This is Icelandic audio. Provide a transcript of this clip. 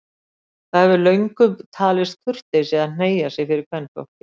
Það hefur löngum talist kurteisi að hneigja sig fyrir kvenfólki.